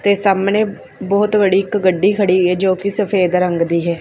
ਤੇ ਸਾਹਮਣੇ ਬਹੁਤ ਵੜੀ ਇੱਕ ਗੱਡੀ ਖੜੀ ਹ ਜੋ ਕਿ ਸਫੇਦ ਰੰਗ ਦੀ ਹੈ।